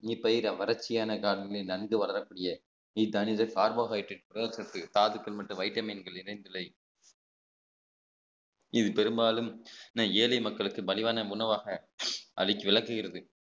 இப்பயிர் நன்கு வளரக்கூடிய கார்போஹைட்ரேட் தாதுக்கள் மற்றும் வைட்டமின்கள் இணைந்து இல்லை இது பெரும்பாலும் ஏழை மக்களுக்கு மலிவான உணவாக அதை விளக்குகிறது